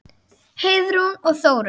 Heiðrún og Þórunn.